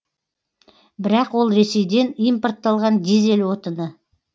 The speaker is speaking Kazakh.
бірақ ол ресейден импортталған дизель отыны